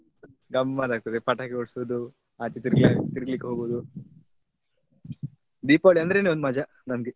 ಹೌದ್ ಗಮ್ಮತ್ ಆಗ್ತದೆ ಪಟಾಕಿ ಹೊಡ್ಸುದು ಆಚೆ ತಿರ್ಗ್ಲಿ~ ತಿರ್ಗ್ಲಿಕ್ಕೆ ಹೋಗುದು ದೀಪಾವಳಿ ಅಂದ್ರೇನೆ ಒಂದ್ ಮಜಾನ್ ನಮ್ಗೆ.